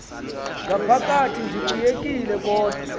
ngaphakathi ndikunyekile kodwa